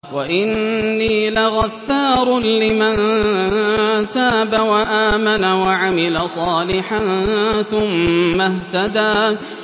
وَإِنِّي لَغَفَّارٌ لِّمَن تَابَ وَآمَنَ وَعَمِلَ صَالِحًا ثُمَّ اهْتَدَىٰ